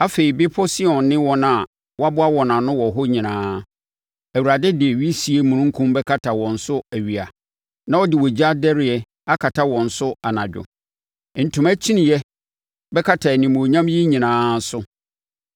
Afei, Bepɔ Sion ne wɔn a wɔboa wɔn ano wɔ hɔ nyinaa, Awurade de wisie omununkum bɛkata wɔn so awia, na ɔde ogya dɛreɛ akata wɔn so anadwo; ntoma kyiniiɛ bɛkata animuonyam yi nyinaa so.